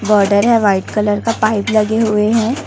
Border है white colour का pipe लगी हुई है।